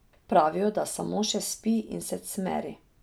Pravijo, da samo še spi in se cmeri.